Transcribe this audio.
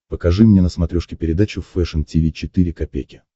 покажи мне на смотрешке передачу фэшн ти ви четыре ка